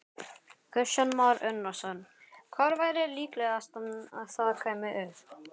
Kristján Már Unnarsson: Hvar væri líklegast að það kæmi upp?